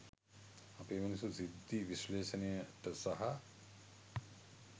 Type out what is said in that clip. අපේ මිනිස්සු සිද්ධි විශ්ලේශනයට සහ